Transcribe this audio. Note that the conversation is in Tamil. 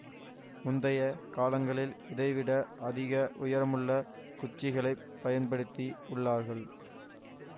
முந்தைய காலங்களில் இதைவிட அதிக உயரமுள்ள குச்சிகளைப் பயன்படுத்தி உள்ளார்கள்